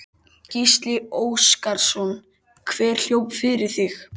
Gísli Óskarsson: Hver hljóp fyrir þig?